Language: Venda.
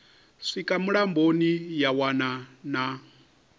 swika mulamboni ya wana na